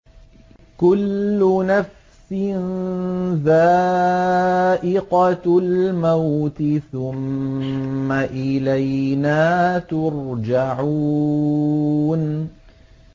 كُلُّ نَفْسٍ ذَائِقَةُ الْمَوْتِ ۖ ثُمَّ إِلَيْنَا تُرْجَعُونَ